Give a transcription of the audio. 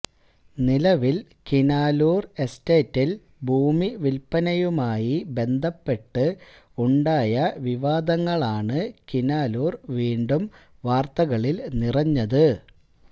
നിലവില് കിനാലൂര് എസ്റ്റേറ്റില് ഭൂമി വില്പ്പനയുമായി ബന്ധപ്പെട്ട് ഉണ്ടായ വിവാദങ്ങളാണ് കിനാലൂര് വീണ്ടും വാര്ത്തകളില് നിറഞ്ഞത്